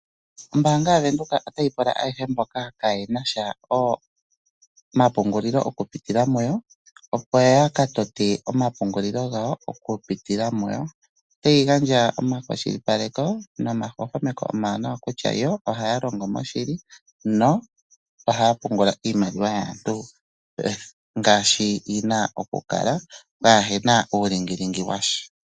Ombaanga yaVenduka otayi pula ayehe mboka kayena omapungulilo oku pitila muyi opo ya katote omapungulilo gawo oku pitila muyo. Otayi gandja omakwashilipaleko nomahwahwameko omawuwanawa kutya yo ohaya longo moshili nohaya pungula iimaliwa yaantu ngaashi yina okukala kapena uulingilingi washa.